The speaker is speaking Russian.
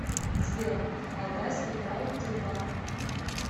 сбер алтайский край тербанк